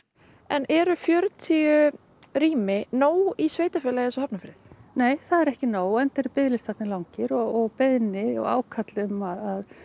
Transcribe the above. eru fjörutíu rými nóg í sveitarfélagi eins og Hafnarfirði nei það er ekki nóg enda eru biðlistarnir langir og beiðni og ákall um að